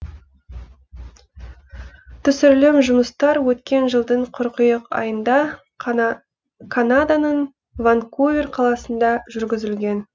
түсірілім жұмыстар өткен жылдың қыркүйек айында канаданың ванкувер қаласында жүргізілген